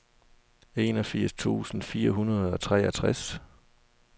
enogfirs tusind fire hundrede og treogtres